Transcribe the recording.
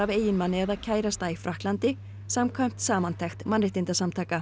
eiginmanni eða kærasta í Frakklandi samkvæmt samantekt mannréttindasamtaka